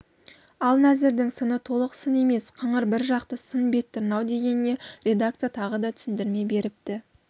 ал нәзірдің сыны толық сын емес қыңыр бір жақты сын бет тырнау дегеніне редакция тағы да түсіндірме беріпті